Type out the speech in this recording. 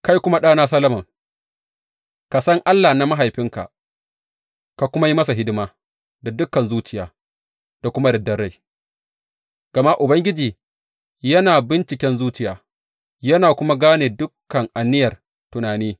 Kai kuma ɗana Solomon, ka san Allah na mahaifinka, ka kuma yi masa hidima da dukan zuciya da kuma yardar rai, gama Ubangiji yana binciken zuciya, yana kuma gane dukan aniyar tunani.